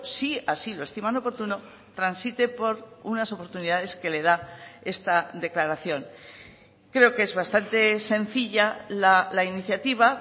si así lo estiman oportuno transite por unas oportunidades que le da esta declaración creo que es bastante sencilla la iniciativa